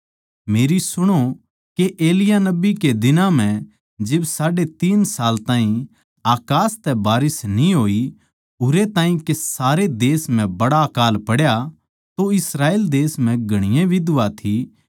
मेरी सुणो के एलिय्याह नबी कै दिनां म्ह जिब साढ़े तीन साल ताहीं अकास तै बारिस न्ही होई उरै ताहीं के सारे देश म्ह बड्ड़ा अकाळ पड्या तो इस्राएल देश म्ह घणीए बिधवा थी